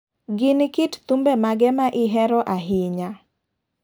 Gin kit thumbe mage ma ihero ahinya?